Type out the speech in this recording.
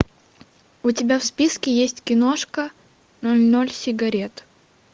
у тебя в списке есть киношка ноль ноль сигарет